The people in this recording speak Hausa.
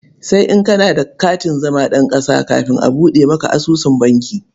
Sai in kana da katin zama ɗan ƙasa kafin a buɗe maka asusun banki.